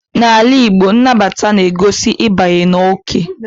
N'ala Igbo, nnabata na-egosi ịbanye n'oke.